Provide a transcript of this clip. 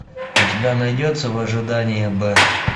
у тебя найдется в ожидании б